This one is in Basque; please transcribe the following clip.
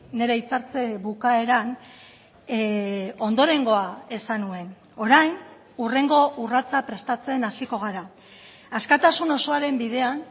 nire hitzartze bukaeran ondorengoa esan nuen orain hurrengo urratsa prestatzen hasiko gara askatasun osoaren bidean